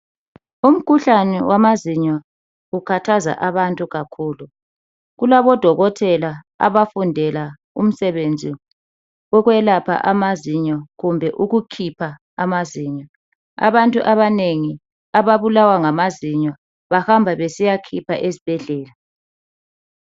Umkhuhlane wamazinyo ukhathaza abantu kakhulu. Kulabo Dokotela abafundela umsebenzi wokwelapha amazinyo kumbe ukukhipha amazinyo. Abantu abanengi ababulawa ngamazinyo bahamba besiyakhipha esibhedlela.